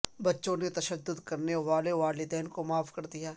بچوں نے تشدد کرنے والے والدین کو معاف کر دیا